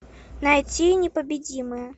найти непобедимые